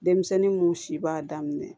Denmisɛnnin mun si b'a daminɛ